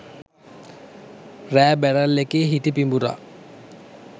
රෑ බැරල් එකේ හිටි පිඹුරා